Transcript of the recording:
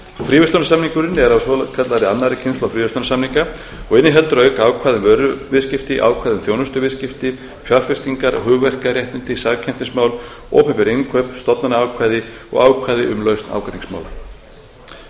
fríverslunarsamningurinn er af svokallaðri annarri kynslóð fríverslunarsamninga og inniheldur auk ákvæða um vöruviðskipti ákvæði um þjónustuviðskipti fjárfestingar hugverkaréttindi samkeppnismál opinber innkaup stofnanaákvæði og ákvæði um lausn ágreiningsmála þá er gert